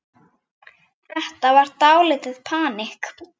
Þetta var dálítið panikk.